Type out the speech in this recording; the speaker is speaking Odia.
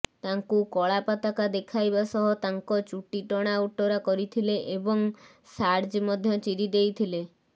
ତାଙ୍କୁ କଳା ପତାକା ଦେଖାଇବା ସହ ତାଙ୍କ ଚୁଟି ଟଣା ଓଟରା କରିଥିଲେ ଏବଂ ଶାର୍ଯ ମଧ୍ୟ ଚିରିଦେଇଥିଲେ